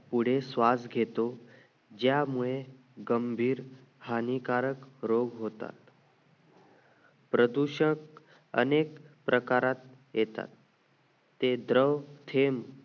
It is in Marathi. पुढे श्वास घेतो ज्यामुळे गंभीर हानिकारक रोग होतात प्रदूषक अनेक प्रकारात येतात ते द्रव थेंब